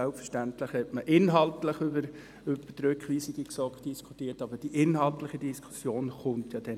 Selbstverständlich hat man inhaltlich über die Rückweisung in die GSoK diskutiert, aber die inhaltliche Diskussion kommt nachher noch.